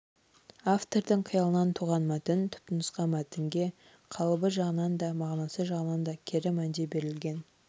автордың қиялынан туған мәтін түпнұсқа мәтінге қалыбы жағынан да мағынасы жағынан да кері мәнде берілген